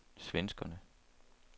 svenskerne